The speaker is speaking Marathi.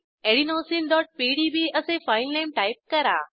adenosineपीडीबी असे फाईलनेम टाईप करा